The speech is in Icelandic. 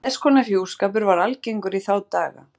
Þess konar hjúskapur var algengur í þá daga.